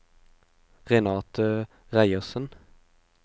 Renate Reiersen